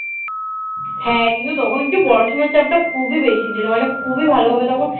হ্যাঁ কিন্তু তখন একটু পড়াশোনার চাপটা খুবই বেশি ছিল মানে খুবই ভালোভাবে তখন